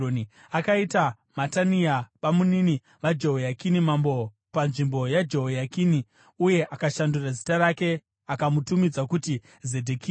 Akaita Matania babamunini vaJehoyakini, mambo panzvimbo yaJehoyakini uye akashandura zita rake akamutumidza kuti Zedhekia.